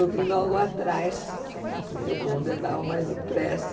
Eu vim logo atrás, porque o bonde andava mais depressa.